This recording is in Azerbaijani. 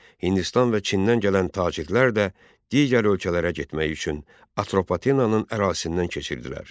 Hindistan və Çindən gələn tacirlər də digər ölkələrə getmək üçün Atropatenanın ərazisindən keçirdilər.